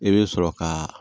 I bɛ sɔrɔ ka